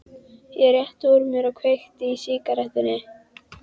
Ég rétti úr mér og kveiki í sígarettunni.